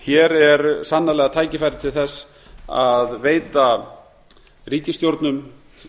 hér er sannarlega tækifæri til þess að veita ríkisstjórnum